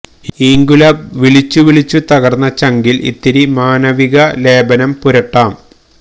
ഇങ്ക്വിലാബ് വിളിച്ചു വിളിച്ചു തകര്ന്ന ചങ്കില് ഇത്തിരി മാനവിക ലേപനം പുരട്ടാം